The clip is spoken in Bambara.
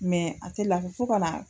Mɛ a tɛ Fɔ ka na